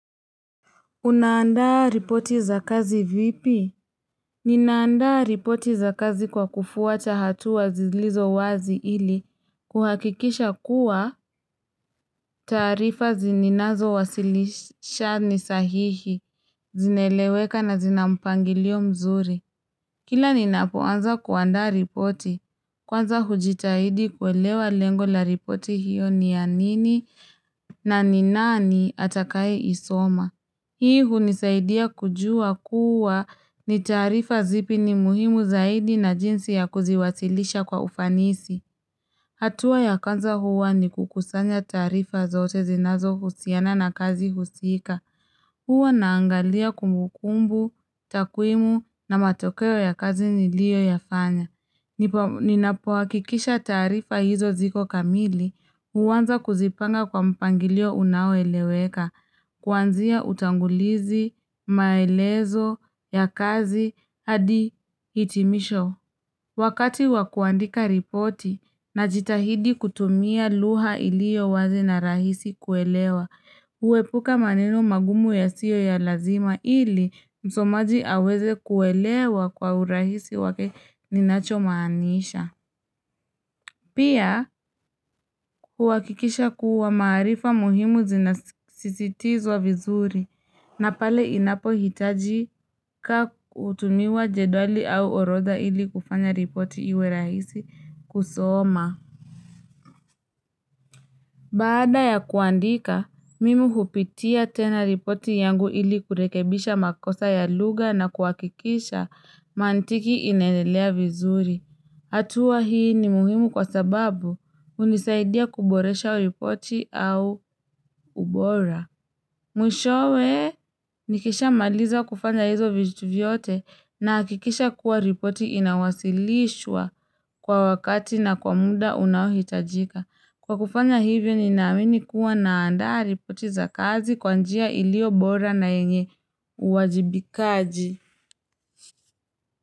Unaandaa ripoti za kazi vipi? Ninaandaa ripoti za kazi kwa kufuata hatua zilizo wazi ili kuhakikisha kuwa taarifa ninazowasilisha ni sahihi, zinaeleweka na zina mpangilio mzuri. Kila ninapoanza kuandaa ripoti, kwanza hujitahidi kuelewa lengo la ripoti hiyo ni ya nini na ni nani atakayeisoma. Hii hunisaidia kujua kuwa ni taarifa zipi ni muhimu zaidi na jinsi ya kuziwasilisha kwa ufanisi. Hatua ya kwanza huwa ni kukusanya taarifa zote zinazo husiana na kazi husika. Huwa naangalia kumukumbu, takwimu na matokeo ya kazi niliyoyafanya. Ninapohakikisha taaarifa hizo ziko kamili, huanza kuzipanga kwa mpangilio unaoeleweka. Kuanzia utangulizi, maelezo, ya kazi, hadi hitimisho. Wakati wakuandika ripoti najitahidi kutumia lugha iliyo wazi na rahisi kuelewa. Kuepuka maneno magumu yasiyo ya lazima ili msomaji aweze kuelewa kwa urahisi wake ninachomaanisha. Pia, kuhakikisha kuwa maarifa muhimu zinasisitizwa vizuri na pale inapohitajika kutumia jedwali au orodha ili kufanya ripoti iwe rahisi kusoma. Baada ya kuandika, mimi hupitia tena ripoti yangu ili kurekebisha makosa ya lugha na kuhakikisha mantiki inaeleza vizuri. Hatua hii ni muhimu kwa sababu hunisaidia kuboresha ripoti au ubora. Mwishowe nikishamaliza kufanya hizo vitu vyote nahakikisha kuwa ripoti inawasilishwa kwa wakati na kwa muda unaohitajika. Kwa kufanya hivyo ninamini kuwa naandaa ripoti za kazi kwa njia ilio bora na yenye uwajibikaji.